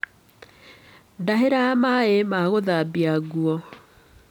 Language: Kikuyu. Ndahĩra maaĩ ma gũthambia nguo.